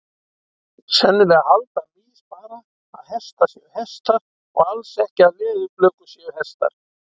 Sennilega halda mýs bara að hestar séu hestar og alls ekki að leðurblökur séu hestar.